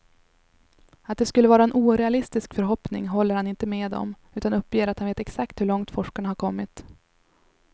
Att det skulle vara en orealistisk förhoppning håller han inte med om, utan uppger att han vet exakt hur långt forskarna har kommit.